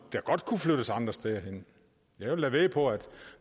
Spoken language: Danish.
der godt kunne flyttes andre steder hen jeg vil da vædde på at